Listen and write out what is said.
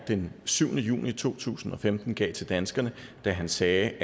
den syvende juni to tusind og femten gav til danskerne da han sagde